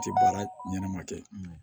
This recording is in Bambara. A tɛ baara ɲɛnɛma kɛ